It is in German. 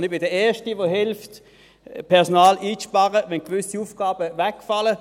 Ich bin der Erste, der mithilft, Personal einzusparen, wenn gewisse Aufgaben wegfallen.